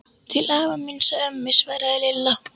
Til afa míns og ömmu svaraði Lilla.